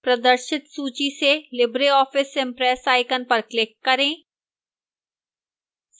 प्रदर्शित सूची से libreoffice impress icon पर click करें